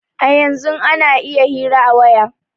A yanzun ana iya hira a waya